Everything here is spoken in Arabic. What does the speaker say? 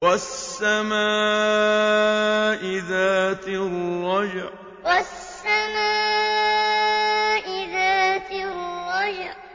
وَالسَّمَاءِ ذَاتِ الرَّجْعِ وَالسَّمَاءِ ذَاتِ الرَّجْعِ